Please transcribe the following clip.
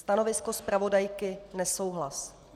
Stanovisko zpravodajky nesouhlas.